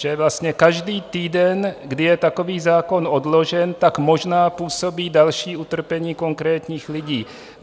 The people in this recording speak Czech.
Že vlastně každý týden, kdy je takový zákon odložen, tak možná působí další utrpení konkrétních lidí.